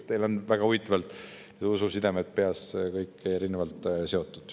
Teil on väga huvitavalt ususidemed peas kõik seotud.